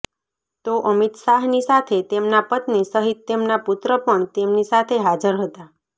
તો અમિત શાહની સાથે તેમના પત્ની સહિત તેમના પુત્ર પણ તેમની સાથે હાજર હતા